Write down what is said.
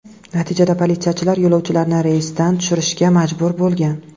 Natijada politsiyachilar yo‘lovchilarni reysdan tushirishga majbur bo‘lgan.